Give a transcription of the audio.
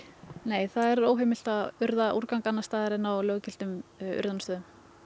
nei það er óheimilt að urða úrgang annars staðar en á löggiltum urðunarstöðum